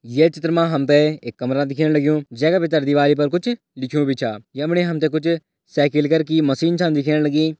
ये चित्र मा हम तें एक कमरा दिखेण लग्युं जें का भितर कुछ दीवारी पर कुछ लिख्युं भी छ यमणा हम तें कुछ साईकिल कर की मशीन छन दिखेण लगी।